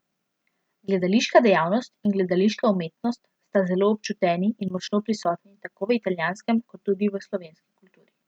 Gledališka dejavnost in gledališka umetnost sta zelo občuteni in močno prisotni tako v italijanski kot tudi v slovenski kulturi.